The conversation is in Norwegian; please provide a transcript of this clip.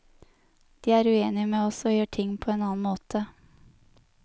De er uenige med oss og gjør ting på en annen måte.